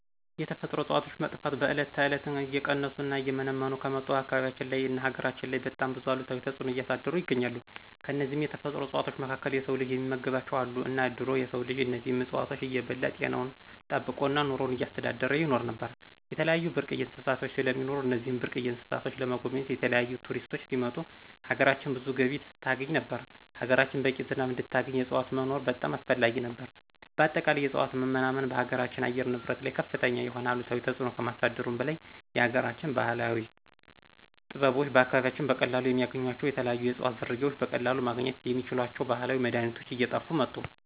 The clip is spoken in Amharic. የተፈጥሮ እፅዋቶች መጥፋት በዕለት ተዕለት እየቀነሱ እና እየመነመኑ ከመጡ አካባቢያችን ላይ እና ሀገራችን ላይ በጣም ብዙ አሉታዊ ተፅኖ እያሳደሩ ይገኛሉ። ከነዚህም የተፈጥሮ እፅዋቶች መካከል የስው ልጅ የሚመገባቸው አሉ እና ድሮ የስው ልጅ እነዚህን እፅዋቶች እየበላ ጤናውን ጠበቆ እና ኑሮውን እያስተዳደረ ይኖር ነበር። የተለያዩ ብርቅየ እንስሳቶች ስለሚኖሩ እነዚህን ብርቅየ እንስሳቶችን ለመጎብኘት የተለያዪ ቱሪስቶች ሲመጡ ሀገራችን ብዙ ገቢ ታስገኝ ነበር፣ ሀገራችን በቂ ዝናብ እንድታገኝ የዕፅዋቶች መኖር በጣም አስፈላጊ ነበር። በአጠቃላይ የእፅዋት መናመን በሀገራችን አየር ንብረት ላይ ከፍተኛ የሆነ አሉታዊ ተፅኖ ከማሳደሩ በላይ የሀገራችን ባህላዊ ጥበበኞች በአካባቢያችን በቀላሉ የሚያገኟቸው የተለያዩ የእፅዋት ዝርያዎች በቀለሉ ማግኝት የሚችሏቸውን ባህላዊ መድሀኒቶች እየጥፉ መጡ።